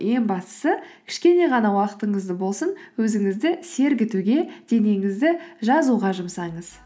ең бастысы кішкене ғана уақытыңызды болсын өзіңізді сергітуге денеңізді жазуға жұмсаңыз